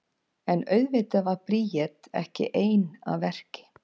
En auðvitað var Bríet ekki ein að verki.